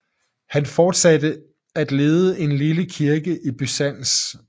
Han fortsatte at lede en lille kirke i Byzans